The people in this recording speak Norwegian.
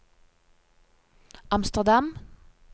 Amsterdam